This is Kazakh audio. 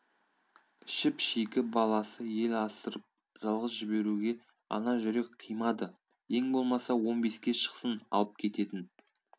шіп-шикі бала ел асырып жалғыз жіберуге ана жүрек қимады ең болмаса он беске шықсын алып кететін